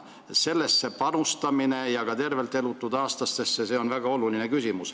Sellesse ja ka tervelt elatud aastatesse panustamine on väga oluline.